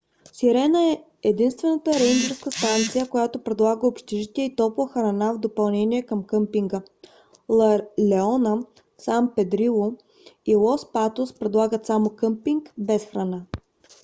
сирена е единствената рейнджърска станция която предлага общежитие и топла храна в допълнение към къмпинга. ла леона сан педрило и лос патос предлагат само къмпинг без храна